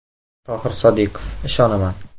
Tohir Sodiqov: Ishonaman.